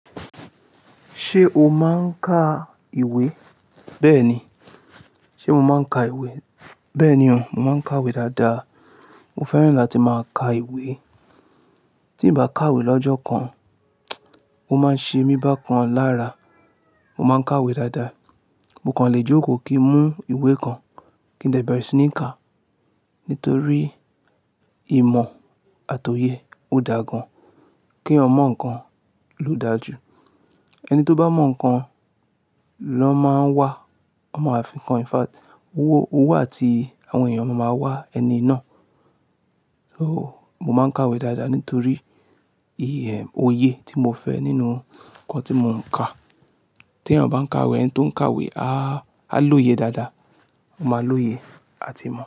Ṣé o máa ń ka ìwé? Bẹ́ẹ̀ni. Ṣé mo máa ń ka ìwé? Bẹ́ẹ̀ni o, mo máa ń kàwé dáadáa. Mo fẹ́ràn láti máa ka ìwé. Tí n bá kàwé lọ́jọ́ kan, o máa ń ṣe mí bákan lára. Mo máa ń kàwé dáadáa. Mo kàn lè jókòó kí n mú ìwé kan kí n dẹ̀bẹ̀rẹ̀ sí ní ká. Nítorí ìmọ̀ àti òye ó dà gan. Kí èèyàn mọ̀ nǹkan ló dáa jù. Ẹni tó bá mọ̀ nko, ló máa ń wà, ó máa fi ǹkan. In fact, owó, owó àti àwọn èèyàn máa ma wá ẹni náà. So, mo máa ń kàwé dáadáa nítorí òye tí mo fẹ́ nínú nǹkan tí mo ń kà. Tí èèyàn bá ń kàwé, ẹni tí ó ń kàwé, á lóye dáadáa. Ó máa lóye àti mo.